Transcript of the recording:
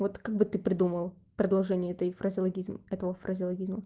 вот как бы ты придумал продолжение этой фразеологизм этого фразеологизма